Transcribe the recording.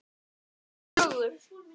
Bæði ljóð og sögur.